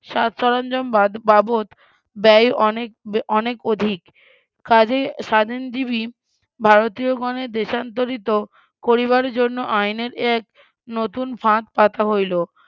বাবদ ব্যয় অনেক অনেক অধিক, কাজেই স্বাধীনজীবি ভারতীয় গণের দেশান্তরীত করিবার জন্য আইনের এক নতুন ফাঁদ পাতা হইল,